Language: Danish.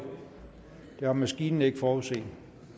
det har maskinen ikke forudset